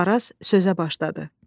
Varaz sözə başladı.